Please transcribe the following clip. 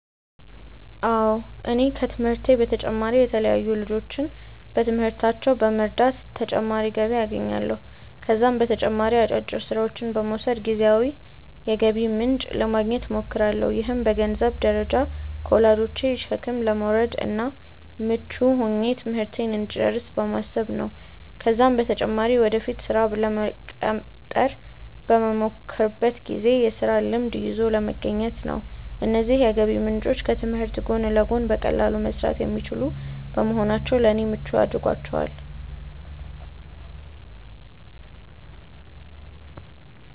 አዎ እኔ ከትምህርቴ በተጨማሪ የተለያዩ ልጆችን በትምህርታቸው በመርዳት ተጨማሪ ገቢ አገኛለሁ። ከዛም በተጨማሪ አጫጭር ስራዎችን በመውሰድ ጊዜያዊ የገቢ ምንጭ ለማግኘት እሞክራለሁ። ይህም በገንዘንብ ደረጃ ከወላጆቼ ሸክም ለመውረድ እና ምቹ ሆኜ ትምህርቴን እንድጨርስ በማሰብ ነው ነው። ከዛም በተጨማሪ ወደፊት ስራ ለመቀጠር በመሞክርበት ጊዜ የስራ ልምድ ይዞ ለመገኘት ነው። እነዚህ የገቢ ምንጮች ከትምህርት ጎን ለጎን በቀላሉ መሰራት የሚችሉ በመሆናቸው ለኔ ምቹ አድርጓቸዋል።